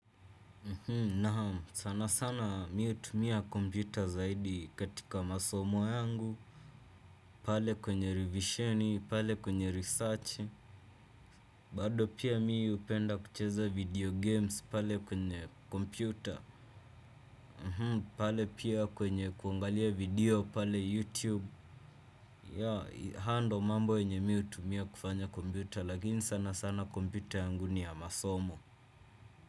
Na sana sana mi hutumia kompyuta zaidi katika masomo yangu. Pale kwenye rivisheni, pale kwenye research bado pia mi hupenda kucheza video games pale kwenye kompyuta. Pale pia kwenye kuangalia video pale youtube. Ya haya ndio mambo yenye mi hutumia kufanya kompyuta lakini sana sana kompyuta yangu ni ya masomo.